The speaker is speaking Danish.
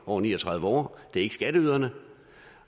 over ni og tredive år det er ikke skatteyderne